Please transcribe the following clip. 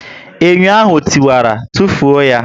Enyo ahụ e tiwara, tufuo ya echi!